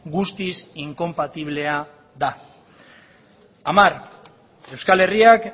guztiz inkonpatiblea da hamar euskal herriak